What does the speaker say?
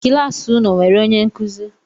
Kịlasị unu e enwere onye nkuzi?